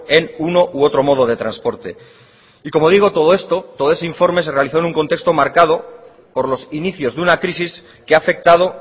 en uno u otro modo de transporte y como digo todo esto todo ese informe se realizó en un contexto marcado por los inicios de una crisis que ha afectado